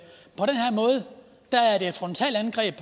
frontalangreb